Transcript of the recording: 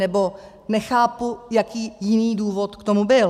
Nebo nechápu, jaký jiný důvod k tomu byl.